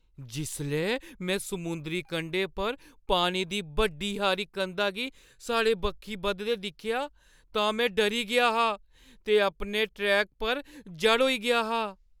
जिसलै में समुंदरी कंढे पर पानी दी बड्डी हारी कंधा गी साढ़े बक्खी बधदे दिक्खेआ तां में डरी गेआ हा ते अपने ट्रैक पर जड़ होई गेआ हा।